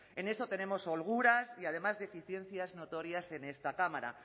en esto tenemos holguras y además deficiencias notorias en esta cámara